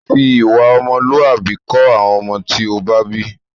Fi ìwà ọmọlúwàbí kọ́ àwọn ọmọ tí ó bá bí!